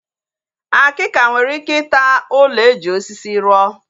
Akika nwere ike ịta ụlọ eji osisi ruo